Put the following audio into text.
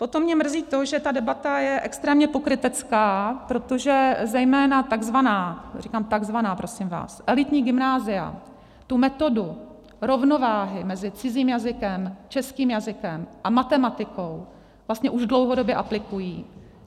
Potom mě mrzí to, že ta debata je extrémně pokrytecká, protože zejména takzvaná - říkám takzvaná, prosím vás - elitní gymnázia tu metodu rovnováhy mezi cizím jazykem, českým jazykem a matematikou vlastně už dlouhodobě aplikují.